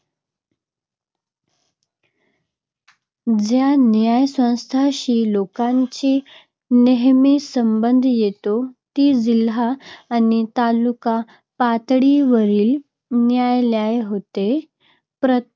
ज्या न्यायसंस्थांशी लोकांचा नेहमी संबंध येतो ती जिल्हा आणि तालुका पातळीवरील न्यायालये होत. प्रत्येक